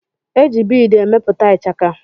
Eji biidi emepụta ichaka.